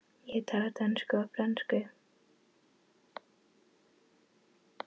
Ég tala dönsku og frönsku.